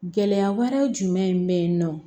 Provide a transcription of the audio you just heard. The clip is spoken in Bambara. Gɛlɛya wɛrɛw jumɛn